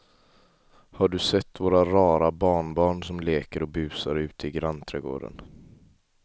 Har du sett våra rara barnbarn som leker och busar ute i grannträdgården!